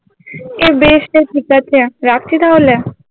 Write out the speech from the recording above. এই বেশতো ঠিক আছে রাখছি তাহলে